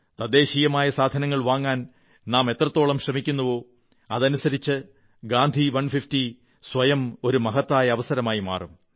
തദ്ദേശീയമായ സാധനങ്ങൾ വാങ്ങാൻ നാം എത്രത്തോളം ശ്രമിക്കുമോ അതനുസരിച്ച് ഗാന്ധി 150 സ്വയം ഒരു മഹത്തായ അവസരമായി മാറും